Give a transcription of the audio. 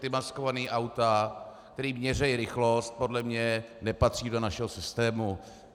Ta maskovaná auta, která měří rychlost, podle mě nepatří do našeho systému.